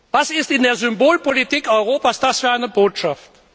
Was ist das in der Symbolpolitik Europas für eine Botschaft?